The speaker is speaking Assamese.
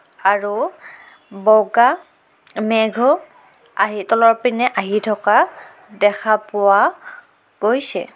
আৰু বগা মেঘো আহি তলৰ পিনে আহি থকা দেখা পোৱা গৈছে.